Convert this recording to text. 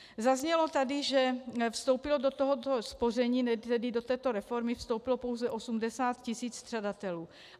Zaznělo tady, že vstoupilo do tohoto spoření, tedy do této reformy, vstoupilo pouze 80 tisíc střadatelů.